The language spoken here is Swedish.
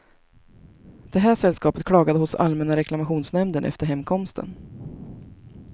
Det här sällskapet klagade hos allmänna reklamationsnämnden efter hemkomsten.